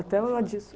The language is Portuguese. Até ela disse...